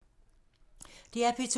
DR P2